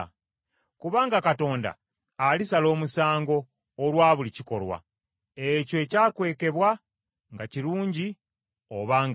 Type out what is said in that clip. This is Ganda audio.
Kubanga Katonda alisala omusango olwa buli kikolwa; ekyo ekyakwekebwa, nga kirungi oba nga kibi.